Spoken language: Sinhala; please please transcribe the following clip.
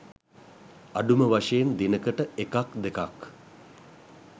අඩුම වශයෙන් දිනකට එකක් දෙකක්